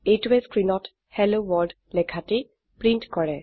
এইটোৱে স্ক্ৰিনত hello world লেখাটি প্ৰিন্ট কৰে